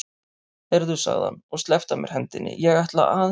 Heyrðu, sagði hann og sleppti af mér hendinni, ég ætla aðeins.